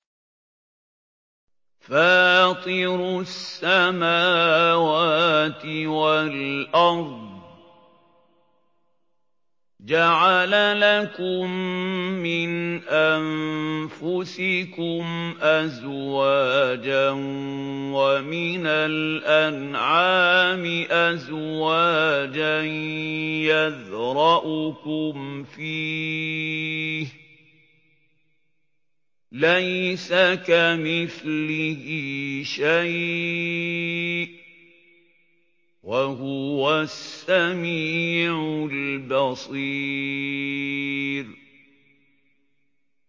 فَاطِرُ السَّمَاوَاتِ وَالْأَرْضِ ۚ جَعَلَ لَكُم مِّنْ أَنفُسِكُمْ أَزْوَاجًا وَمِنَ الْأَنْعَامِ أَزْوَاجًا ۖ يَذْرَؤُكُمْ فِيهِ ۚ لَيْسَ كَمِثْلِهِ شَيْءٌ ۖ وَهُوَ السَّمِيعُ الْبَصِيرُ